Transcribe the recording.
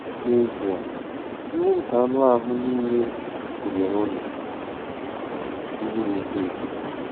N'ezie, “ndị nke anụ ahụ́ niile” gụnyere unu ndị na-eto eto.